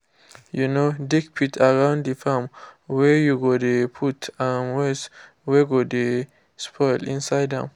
um dig pit around the farm whey you go dey put um waste wey go dey spoil inside am